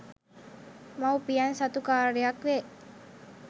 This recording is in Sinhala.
මවුපියන් සතු කාර්යයක් වේ